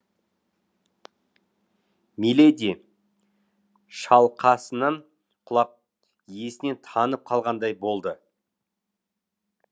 миледи шалқасынан құлап есінен танып қалғандай болды